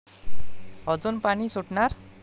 अजून पाणी सुटणार?